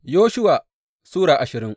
Yoshuwa Sura ashirin